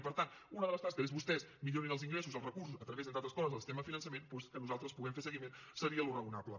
i per tant una de les tasques és que vostès millorin els ingressos els recursos a través entre altres coses del sistema de finançament doncs que nosaltres puguem fer seguiment seria el raonable